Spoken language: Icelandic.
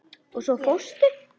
Og svo fórstu.